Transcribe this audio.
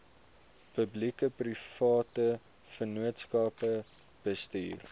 publiekeprivate vennootskappe bestuur